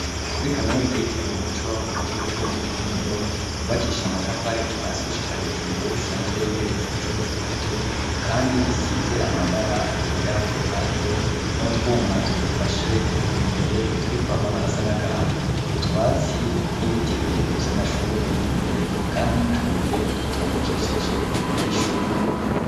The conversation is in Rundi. Kuri kaminuza yitiriwe Umuco, mu kigo co mu Kinindo, yubakishije amatafari kuva hasi gushika hejuru, isanzwe igeretse incuro zitatu kandi isize amabara yera ku ruhande, n'utwuma tuyifashe imbere turiko amabara asa n'agahama, utwatsi n'ibiti birebere vy'amashurwe biri imbere, kandi n'utubuye dutondekesheje imbere y'ishuri.